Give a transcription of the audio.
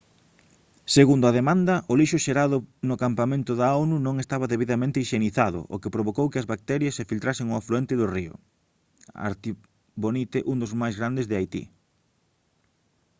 segundo a demanda o lixo xerado no campamento da onu non estaba debidamente hixienizado o que provocou que as bacterias se filtrasen ao afluente do río artibonite un dos máis grandes de haití